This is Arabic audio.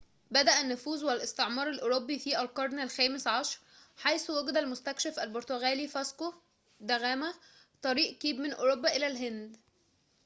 بدأ النفوذ والاستعمار الأوروبي في القرن الخامس عشر حيث وجد المستكشف البرتغالي فاسكو دا غاما طريق كيب من أوروبا إلى الهند